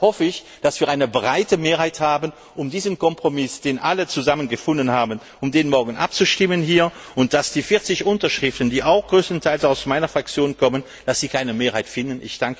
Deshalb hoffe ich, dass wir eine breite Mehrheit haben, um diesen Kompromiss, den alle zusammen gefunden haben, hier morgen abzustimmen, und dass die 40 Unterschriften, die auch größtenteils aus meiner Fraktion kommen, keine Mehrheit finden.